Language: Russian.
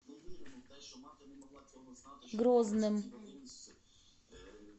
грозным